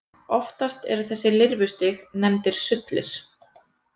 Oftast eru þessi lirfustig nefndir sullir.